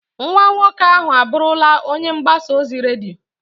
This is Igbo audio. Nwa nwoke ahụ abụrụla onye mgbasa ozi redio.